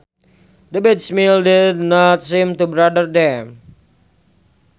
The bad smells did not seem to bother them